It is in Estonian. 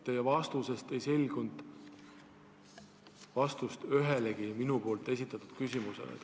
Teie vastusest ei selgunud vastust ühelegi minu esitatud küsimusele.